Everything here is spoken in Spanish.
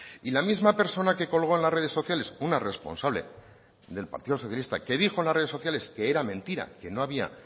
y la misma persona que colgó en las redes sociales una responsable del partido socialista que dijo en las redes sociales que era mentira que no había